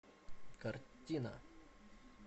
картина